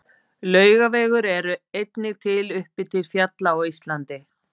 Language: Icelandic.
Laugavegur er einnig til uppi til fjalla á Íslandi.